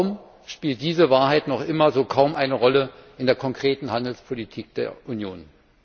Warum spielt diese Wahrheit noch immer kaum eine Rolle in der konkreten Handelspolitik der Union?